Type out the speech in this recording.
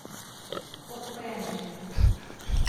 Odprem jih.